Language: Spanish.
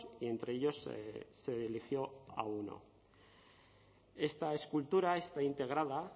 y entre ellos se eligió a uno esta escultura está integrada